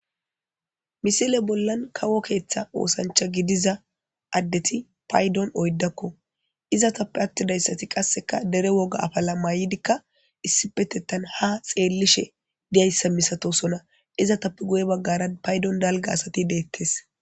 Misile bollan kawo keeththa oosancha gidiza addeti paydon oyddakko iza tappe attidayssati qasseka dere woga afala may7idikka issipetettan ha xeellishe diyayssa misatosona iza tappe guye baggaran paydon dalga asati deettes.